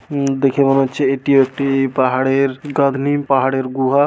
উম দেখে মনে হচ্ছে এটি একটি পাহাড়ের গাঁথনি পাহাড়ের গুহা।